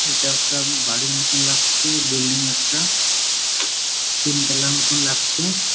এইটা একটা বাড়ির মতন লাগছে বিল্ডিং একটা। তিন তলায় মতন লাগছে।